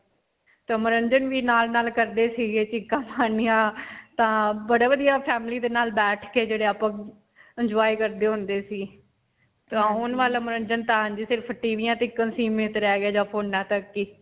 ਤਾਂ ਮਨੋਰੰਜਨ ਵੀ ਨਾਲ-ਨਾਲ ਕਰਦੇ ਸੀਗੇ ਚੀਕਾਂ ਮਾਰਨੀਆਂ, ਤਾਂ ਬੜਾ ਵਧੀਆ family ਦੇ ਨਾਲ ਬੈਠ ਕੇ ਜਿਹੜੇ ਆਪਾਂ ਬਬ enjoy ਕਰਦੇ ਹੁੰਦੇ ਸੀ. ਹੁਣ ਵਾਲਾ ਮਨੋਰੰਜਨ ਤਾਂ ਹਾਂਜੀ ਸਿਰਫ ਟੀਵੀਆਂ ਤੱਕ ਹੀ ਸੀਮਿਤ ਰਹੀ ਗਿਆ ਜਾਂ ਫੋਨਾਂ ਤੱਕ ਹੀ.